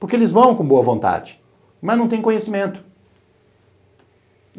Porque eles vão com boa vontade, mas não têm conhecimento.